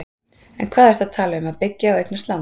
En hvað ertu að tala um að byggja og eignast land?